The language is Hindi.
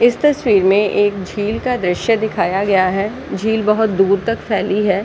इस तस्वीर में एक झील का दृश्य दिखाया गया है। झील बोहोत दूर तक फैली है।